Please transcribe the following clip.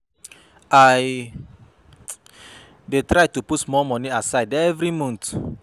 I dey try to put small money aside every month.